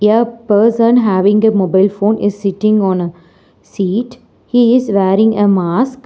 a person having a mobile phone is sitting on a seat he is wearing a mask.